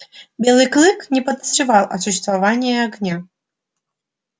белый клык не подозревал о существовании огня